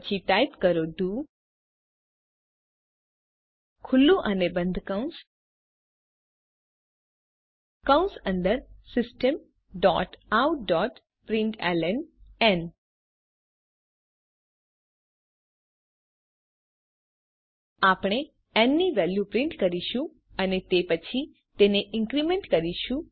પછી ટાઇપ કરો do open અને ક્લોસ કૌંસ કૌંસ અંદર systemoutપ્રિન્ટલન આપણે ન ની વેલ્યુ પ્રિન્ટ કરીશું અને પછી તેને ઇન્ક્રીમેન્ટ કરીશું